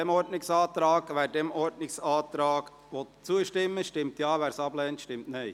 Wer diesem Ordnungsantrag zustimmen will, stimmt Ja, wer diesen ablehnt, stimmt Nein.